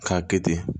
K'a kɛ ten